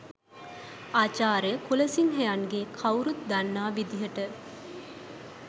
ආචාර්ය කුලසිංහයන්ගේ කව්රුත් දන්නා විදිහට